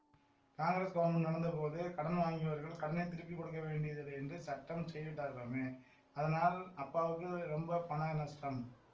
Congress government நடந்தபோது கடன் வாங்கியவர்கள் கடனை திருப்பி கொடுக்க வேண்டியதில்லை என்று சட்டம் செய்துவிட்டார்களாமே அதனால் அப்பாவுக்கு ரொம்ப பணம் நஷ்டம்